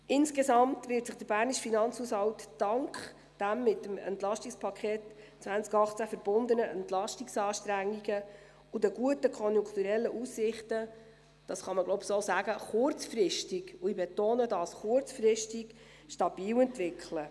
Insgesamt wird sich der bernische Finanzhaushalt dank den mit dem EP 2018 verbundenen Entlastungsanstrengungen und den guten konjunkturellen Aussichten – das kann man so sagen, glaube ich – kurzfristig, und ich betone: kurzfristig, stabil entwickeln.